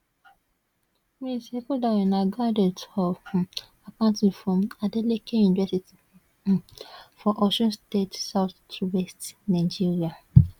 ms ekundayo na graduate of um accounting from adeleke university um for osun state southwest nigeria